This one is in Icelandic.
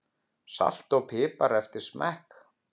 Salt og pipar eftir smekk.